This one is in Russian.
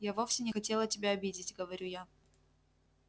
я вовсе не хотела тебя обидеть говорю я